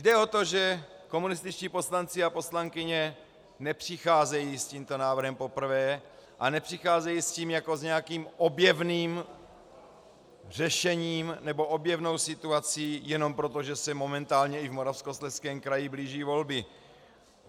Jde o to, že komunističtí poslanci a poslankyně nepřicházejí s tímto návrhem poprvé a nepřicházejí s tím jako s nějakým objevným řešením nebo objevnou situací jenom proto, že se momentálně i v Moravskoslezském kraji blíží volby.